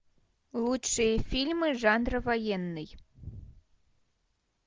лучшие фильмы жанра военный